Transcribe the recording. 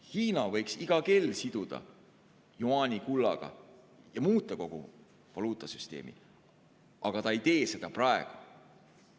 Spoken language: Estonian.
Hiina võiks iga kell siduda jüaani kullaga ja muuta kogu valuutasüsteemi, aga ta ei tee seda praegu.